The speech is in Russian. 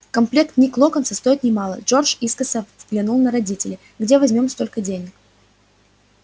комплект книг локонса стоит немало джордж искоса взглянул на родителей где возьмём столько денег